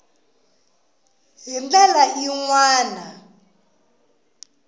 hi ndlela yin wana ya